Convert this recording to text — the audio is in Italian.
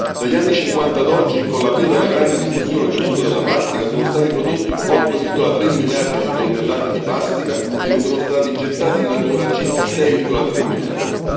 Dagli anni '50 ad oggi, con l'avvio della grande diffusione dell'uso della plastica, sono stati prodotti 8,3 miliardi di tonnellate di plastica e ne sono stati gettati in natura circa 6,3 miliardi.